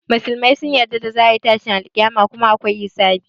Musulmai sun yarda za a yi tashin alƙiyama kuma akwai hisabi.